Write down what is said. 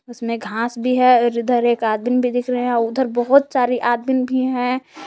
उसमें घास भी है और इधर एक आदमी भी दिख रहे हैं उधर बहुत सारी आदमी भी है।